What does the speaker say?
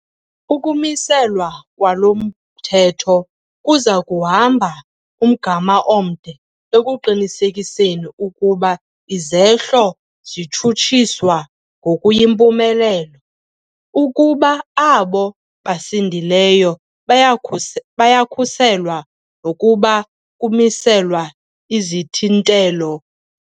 "Ukumi-selwa kwalo mthetho kuza kuhamba umgama omde ekuqinisekiseni ukuba izehlo zitshutshiswa ngokuyimpumelelo, ukuba abo basindileyo bayakhuselwa nokuba kumiselwa izithintelo"